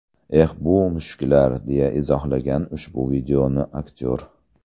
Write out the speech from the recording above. Eh, bu mushuklar”, deya izohlagan ushbu videoni aktyor.